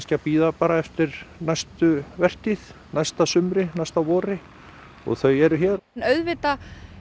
að bíða eftir næstu vertíð næsta sumri næsta vori þau eru hér auðvitað